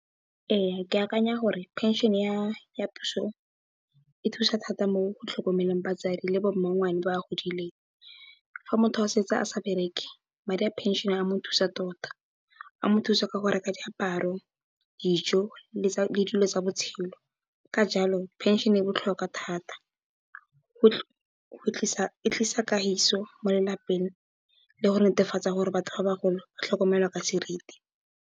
Ee ke akanya gore phenšene ya puso e thusa thata mo go tlhokomeleng batsadi le bo mmangwane ba ba godileng. Fa motho a setse a sa bereke madi a phenšene a mo thusa tota, a mo thusa ka go reka diaparo, dijo le dilo tsa botshelo. Ka jalo phenšene e botlhokwa thata, e tlisa kagiso mo lelapeng, le go netefatsa gore batho ba bagolo ba tlhokomelwa ka seriti.